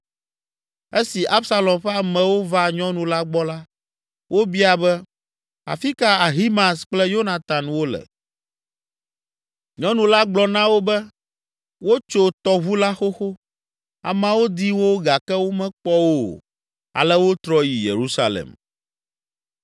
Esi Absalom ƒe amewo va nyɔnu la gbɔ la, wobia be, “Afi ka Ahimaaz kple Yonatan wole?” Nyɔnu la gblɔ na wo be, “Wotso tɔʋu la xoxo.” Ameawo di wo gake womekpɔ wo o, ale wotrɔ yi Yerusalem.